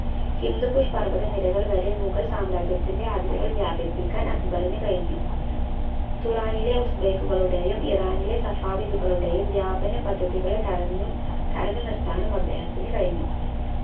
ഹിന്ദുകുഷ് പർവത നിരകൾ വരെ മുഗൾ സാമ്രാജ്യത്തിന്റെ അതിരുകൾ വ്യാപിപ്പിക്കാൻ അക്ബറിന് കഴിഞ്ഞു തുറാനിലെ ഉഫ്ബൈക്കുകളുടെയും ഇറാനിലെ സഫാവിദുകളുടെയും വ്യാപന പദ്ധതികളെ തടഞ്ഞു തടഞ്ഞുനിർത്താനും അദ്ദേഹത്തിന് കഴിഞ്ഞു